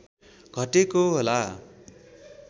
घटेको होला